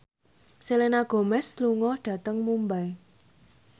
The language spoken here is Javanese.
Selena Gomez lunga dhateng Mumbai